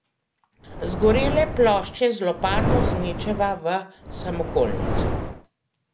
Zgorele plošče z lopato zmečeva v samokolnico.